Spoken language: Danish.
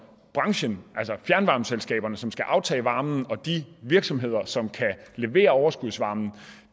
branchen altså fjernvarmeselskaberne som skal aftage varmen og de virksomheder som kan levere overskudsvarme